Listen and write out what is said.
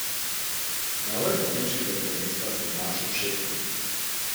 Na vrhu nemškega prvenstva se je znašel šestkrat.